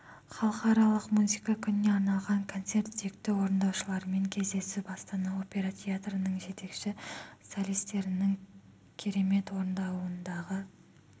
халықаралық музыка күніне арналған концерт сүйікті орындаушылармен кездесіп астана опера театрының жетекші солистерінің керемет орындауындағы